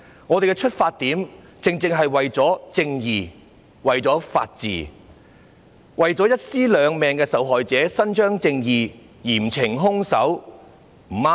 我們的出發點，正正是為了正義、為了法治、為了一屍兩命案件的受害者伸張正義，嚴懲兇手，不對嗎？